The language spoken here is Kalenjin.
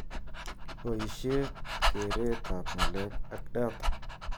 Boishet, keret ab ng'alek ak data